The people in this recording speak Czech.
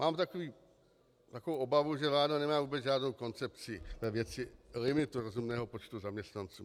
Mám takovou obavu, že vláda nemá vůbec žádnou koncepci ve věci limitu rozumného počtu zaměstnanců.